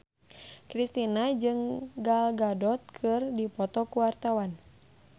Kristina jeung Gal Gadot keur dipoto ku wartawan